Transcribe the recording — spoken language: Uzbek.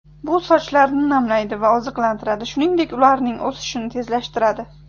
Bu sochlarni namlaydi va oziqlantiradi, shuningdek ularning o‘sishini tezlashtiradi.